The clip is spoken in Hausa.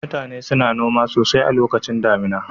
Mutane suna noma sosai a lokacin damina